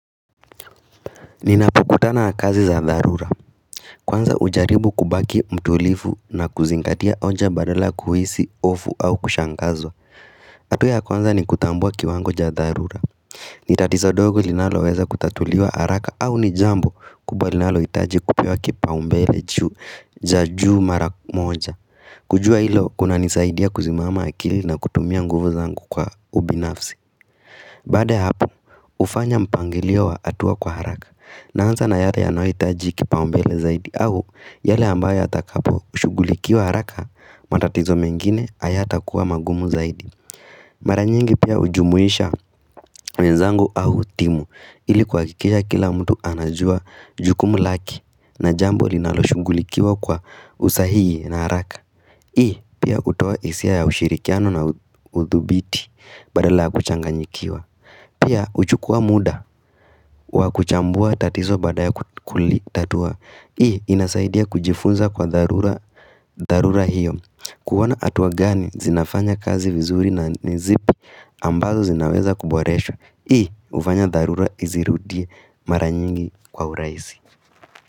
Ninapokutana na kazi za dharura Kwanza hujaribu kubaki mtulivu na kuzingatia onja badala kuhisi hofu au kushangazwa hatua ya kwanza ni kutambua kiwango cha dharura Nitatizo dogo linalo weza kutatuliwa haraka au ni jambo kubwa linalohitaji kupewa kipaumbele juu za juhu mara moja kujua hilo kunanisaidia kuzimama akili na kutumia nguvu zangu kwa ubinafsi Baada ya hapo hufanya mpangilio wa hatua kwa haraka Naanza na yale yanayohitaji kipau mbele zaidi au yale ambayo yatakapo shugulikiwa haraka matatizo mengine hayatakuwa magumu zaidi. Mara nyingi pia hujumuisha wenzangu au timu ilikuhakikisha kila mtu anajua jukumu lake na jambo linaloshugulikiwa kwa usahihi na haraka. Hii pia hutoa isia ya ushirikiano na uthubiti badala ya kuchanganyikiwa. Pia uchukua muda wa kuchambua tatizo baada ya kulitatua Hii inasaidia kujifunza kwa dharura hiyo kuona hatua gani zinafanya kazi vizuri na ni zipi ambazo zinaweza kuboreshwa Hii ufanya dharura izirudie mara nyingi kwa urahisi.